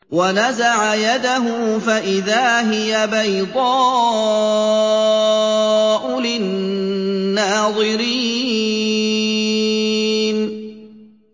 وَنَزَعَ يَدَهُ فَإِذَا هِيَ بَيْضَاءُ لِلنَّاظِرِينَ